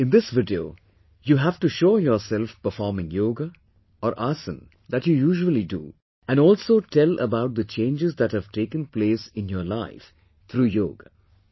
In this video, you have to show performing Yoga, or Asana, that you usually do and also tell about the changes that have taken place in your life through yoga